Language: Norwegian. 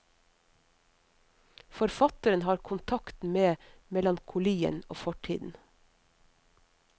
Forfatteren har kontakt med melankolien og fortiden.